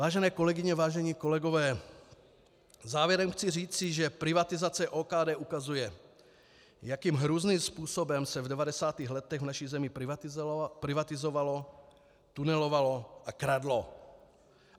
Vážené kolegyně, vážení kolegové, závěrem chci říci, že privatizace OKD ukazuje, jakým hrůzným způsobem se v 90. letech v naší zemi privatizovalo, tunelovalo a kradlo.